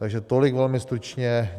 Takže tolik velmi stručně.